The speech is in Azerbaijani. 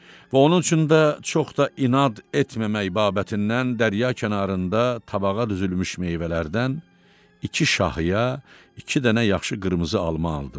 Və onun üçün də çox da inad etməmək babətindən dərrya kənarında tabağa düzülmüş meyvələrdən iki şahıya, iki dənə yaxşı qırmızı alma aldım.